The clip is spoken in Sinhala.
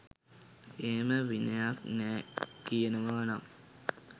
එහෙම විනයක් නෑ කියනවා නම්